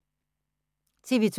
TV 2